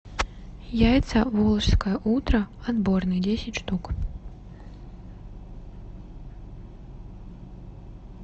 яйца волжское утро отборные десять штук